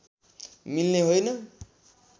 मिल्ने होइन